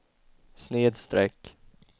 snedsträck